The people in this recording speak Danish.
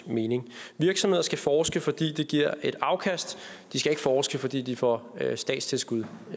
mening virksomheder skal forske fordi det giver et afkast de skal ikke forske fordi de får statstilskud